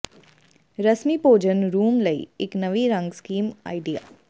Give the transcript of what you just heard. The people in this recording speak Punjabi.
ਰਸਮੀ ਭੋਜਨ ਰੂਮ ਲਈ ਇੱਕ ਨਵੀਂ ਰੰਗ ਸਕੀਮ ਆਈਡੀਆ